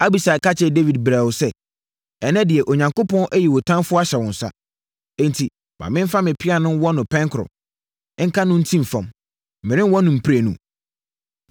Abisai ka kyerɛɛ Dawid brɛoo sɛ, “Ɛnnɛ deɛ, Onyankopɔn ayi wo ɔtamfoɔ ahyɛ wo nsa. Enti, ma memfa me pea no nwɔ no pɛn koro, nka no ntim fam. Merenwɔ no mprenu.”